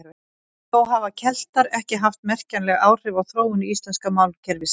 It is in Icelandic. Þó hafa Keltar ekki haft merkjanleg áhrif á þróun íslenska málkerfisins.